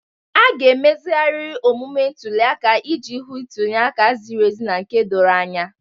A ga-emezigharị omume ntuli aka iji hụ ntuli aka ziri ezi na nke doro anya.